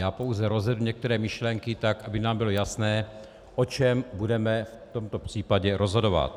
Já pouze rozvedu některé myšlenky tak, aby nám bylo jasné, o čem budeme v tomto případě rozhodovat.